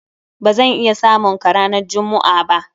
Ba zan iya samun ka ranan jummu'a ba.